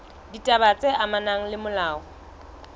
ditaba tse amanang le molao